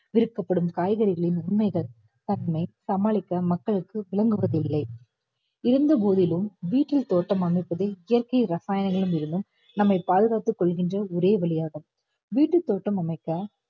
விற்கப்படும் காய்கறிகளின் உண்மைகள் தன்மை சமாளிக்க மக்களுக்கு விளங்குவதில்லை இருந்த போதிலும் வீட்டில் தோட்டம் அமைப்பதை இயற்கை ரசாயனங்கள் ஏதினும் நம்மை பாதுகாத்துக் கொள்கின்ற ஒரே வலியாகும் வீட்டுத் தோட்டம் அமைக்க